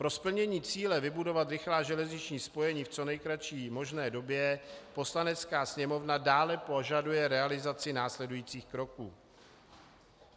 Pro splnění cíle vybudovat rychlá železniční spojení v co nejkratší možné době Poslanecká sněmovna dále požaduje realizaci následujících kroků: